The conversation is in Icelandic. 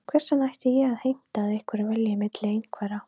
Hvers vegna ætti ég að heimta að einhver velji milli einhverra?